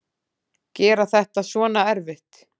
Gera þetta svona erfitt.